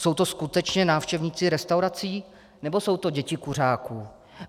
Jsou to skutečně návštěvníci restaurací, nebo jsou to děti kuřáků?